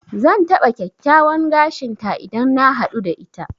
Zan taɓa kyakkyawan gashin ta idan na haɗu da ita.